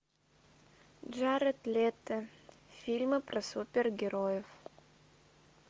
джаред лето фильмы про супергероев